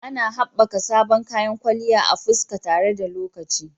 Ana haɓaka sabbin kayan kwalliyan fuska tare da lokaci.